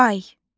Ay.